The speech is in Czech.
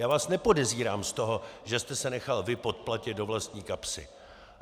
Já vás nepodezírám z toho, že jste se nechal vy podplatit do vlastní kapsy.